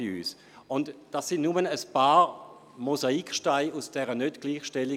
Dies sind nur ein paar Mosaiksteine aus der heutigen Nichtgleichstellung.